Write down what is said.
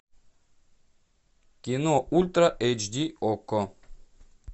кино ультра эйч ди окко